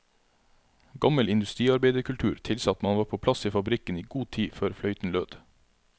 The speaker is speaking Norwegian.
Gammel industriarbeiderkultur tilsa at man var på plass i fabrikken i god tid før fløyten lød.